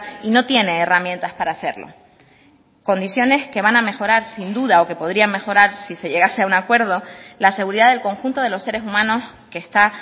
y no tiene herramientas para hacerlo condiciones que van a mejorar sin duda o que podrían mejorar si se llegase a un acuerdo la seguridad del conjunto de los seres humanos que está